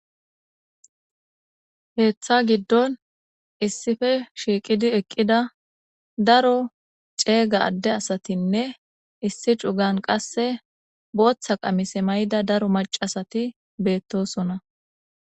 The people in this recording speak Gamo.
heththa giddon issife shiiqidi eqqida daro ceega adde asatinne issi cugan qasse booththa qamise may7da daro macasati beettosona